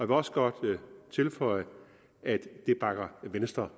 vil også godt tilføje at venstre